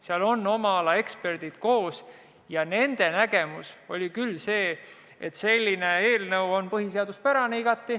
Seal on koos oma ala eksperdid ja nende nägemus oli küll selline, et see eelnõu on igati põhiseaduspärane.